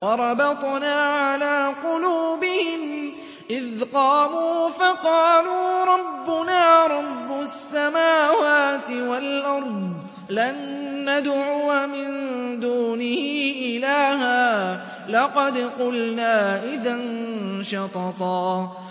وَرَبَطْنَا عَلَىٰ قُلُوبِهِمْ إِذْ قَامُوا فَقَالُوا رَبُّنَا رَبُّ السَّمَاوَاتِ وَالْأَرْضِ لَن نَّدْعُوَ مِن دُونِهِ إِلَٰهًا ۖ لَّقَدْ قُلْنَا إِذًا شَطَطًا